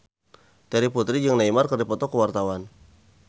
Terry Putri jeung Neymar keur dipoto ku wartawan